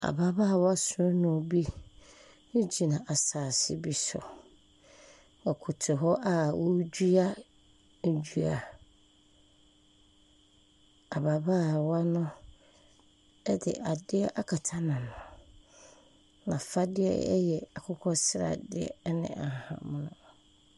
Ababaawa sɔɔnɔ bi gyina asase bi so. Ɔkoto hɔ a ɔredua dua. Ababaawa no de adeɛ akata n'ano. N'afadeɛ yɛ akokɔ sradeɛ ne ahahan mono.